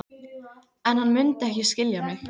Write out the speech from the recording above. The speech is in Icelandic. En hann mundi ekki skilja mig.